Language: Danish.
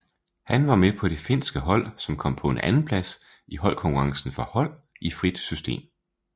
Han var med på det finske hold som kom på en andenplads i holdkonkurrencen for hold i frit system